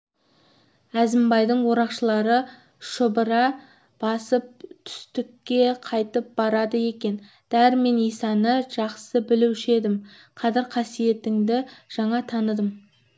әзімбайдың орақшылары шұбыра басып түстікке кайтып барады екен дәрмен исаны жақсы білуші еді қадір-қасиетіңді жаңа таныдым